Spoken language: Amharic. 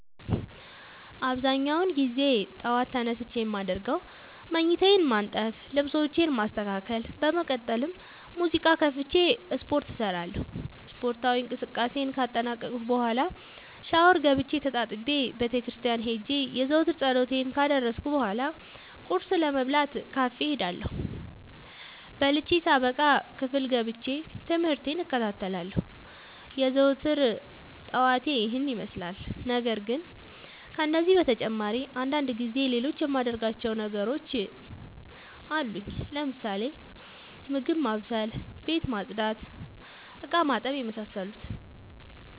አብዛኛውን ግዜ ጠዎት ተነስቼ የማደርገው መኝታዬን ማነጠፍ ልብሶቼን ማስተካከል በመቀጠልም ሙዚቃ ከፍቼ ስፓርት እሰራለሁ ስፓርታዊ እንቅስቃሴን ካጠናቀቅኩ በኋ ሻውር ገብቼ ተጣጥቤ ቤተክርስቲያን ሄጄ የዘወትር ፀሎቴን ካደረስኩ በሏ ቁርስ ለመብላት ካፌ እሄዳለሁ። በልቼ ሳበቃ ክፍል ገብቼ። ትምህርቴን እከታተላለሁ። የዘወትር ጠዋቴ ይህን ይመስላል። ነገርግን ከነዚህ በተጨማሪ አንዳንድ ጊዜ ሌሎቹ የማደርጋቸው ተግባሮች አሉኝ ለምሳሌ፦ ምግብ ማብሰል፤ ቤት መፅዳት፤ እቃማጠብ የመሳሰሉት።